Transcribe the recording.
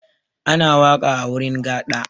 Ana waƙa a wurin gaɗa.